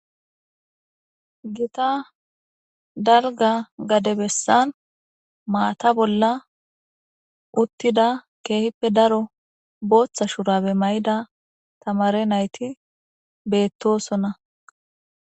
Gitta daliga gade besan mata bolla utida kehipe daro botha shurabe ma'ida tamare nayiti betosona